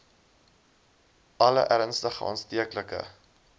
alle ernstige aansteeklike